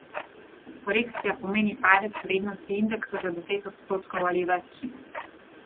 Korekcija pomeni padec vrednosti indeksa za deset odstotkov ali več.